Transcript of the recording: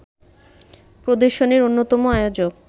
প্রদর্শনীর অন্যতম আয়োজক